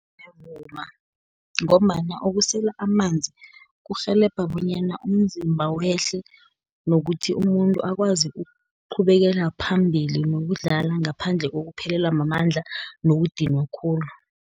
Ngiyavuma, ngombana ukusela amanzi, kurhelebha bonyana umzimba wehle, nokuthi umuntu akwazi ukuqhubekela phambili nokudlala, ngaphandle kokuphelelwa mamandla nokudinwa khulu.